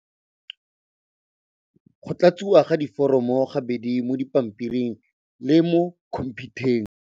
Go tlatsiwa ga diforomo ga bedi mo dipampiring le mo khomphutheng.